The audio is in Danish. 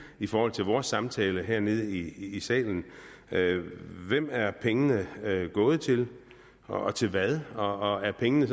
i forhold til vores samtale hernede i salen salen hvem er pengene gået til og til hvad og er pengene